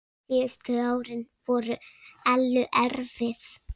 Síðustu árin voru Ellu erfið.